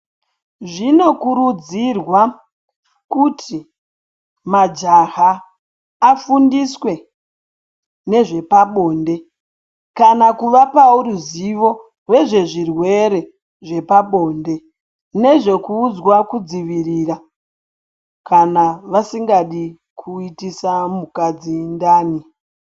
Zvinokurudzirwa kuti majaha afundiswe nezvepabonde kana kuvapawo ruziwo rezvezvirwere zvepabonde nezvekuudzwa kudzivirira kana vasingadi kuitisa mukadzi ndani.